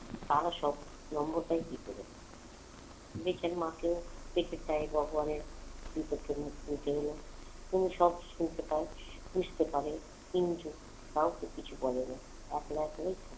তারা সব number পায় কি করে? বেচার মাকেও দেখে তাই ভগবানের বিচার সভা শুনতে হলো তিনি সব শুনতে পান বুঝতে পারে কিন্তু কাউকে কিছু বলে না। একলা একলাই